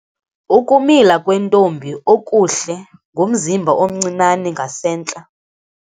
Ukumila kwentombi okuhle ngumzimba omncinane ngasentla.